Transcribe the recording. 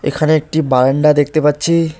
এখানে একটি বারান্ডা দেখতে পাচ্ছি।